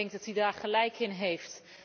Ik denk dat hij daar gelijk in heeft.